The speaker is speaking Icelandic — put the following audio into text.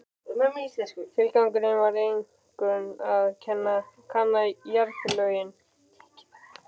Tilgangurinn var einkum að kanna jarðlögin.